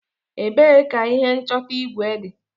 Ebee ka ihe nchọta igwe dị?